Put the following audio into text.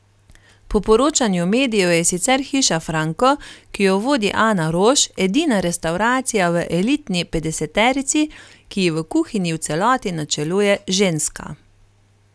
Po poročanju medijev je sicer Hiša Franko, ki jo vodi Ana Roš, edina restavracija v elitni petdeseterici, ki ji v kuhinji v celoti načeluje ženska.